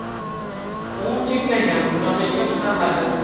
U cheklangan miqdorda ishlab chiqariladi.